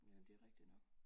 Jamen det er rigtig nok